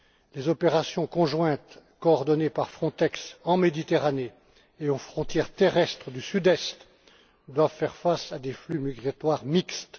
Les opérations conjointes coordonnées par Frontex en Méditerranée et aux frontières terrestres du Sud Est doivent faire face à des flux migratoires mixtes.